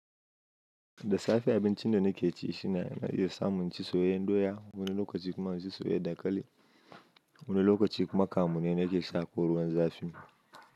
Da safe abincinda nakeci shine a iya samun inci soyayyar doya, wani lokaci kuma inci soyayyar dankali. Wani lokaci kuma kamune nake sha ko ruwan zafi.